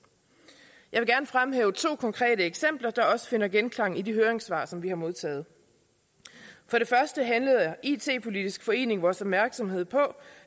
jeg vil gerne fremhæve to konkrete eksempler der også finder genklang i de høringssvar som vi har modtaget for det første henledte it politisk forening vores opmærksomhed på